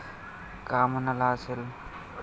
का म्हणाला असेल?